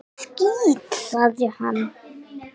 Skítt, sagði hann.